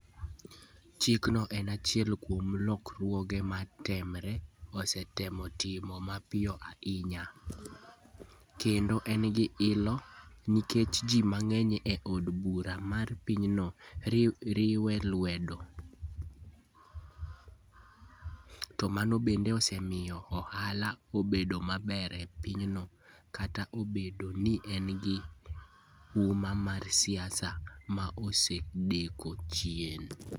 Chikno en achiel kuom lokruoge ma Temer osetemo timo mapiyo ahinya, kendo en gi ilo nikech ji mang'eny e od bura mar pinyno riwe lwedo, to mano bende osemiyo ohala obedo maber e pinyno, kata obedo ni en gi huma mar siasa ma osedok chien.